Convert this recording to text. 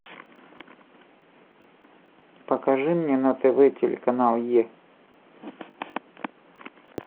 покажи мне на тв телеканал е